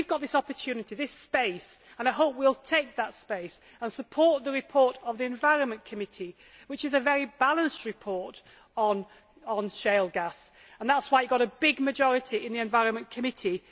We have this opportunity, this space, and I hope we will take that space and support the report of the Environment Committee, which is a very balanced report on shale gas, and that is why it got a big majority in committee.